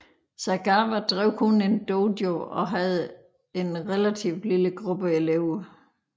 Sagawa drev kun én dojo og havde en relativt lille gruppe elever